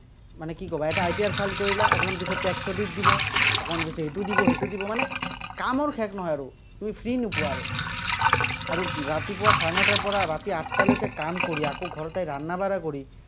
মানে কি ক'বা এটা ITR file কৰিলা, অকণমান পিছত tax audit দিব, অকণমান পিছত ইটো দিব, সিটো দিব, মানে কামৰ শেষ নহয় আৰু, তুমি free নোপোৱা আৰু। আৰু ৰাতিপুৱা চাৰে নটাৰপৰা ৰাতি আঠটালৈকে কাম কৰি, আকৌ ঘৰতে কৰি।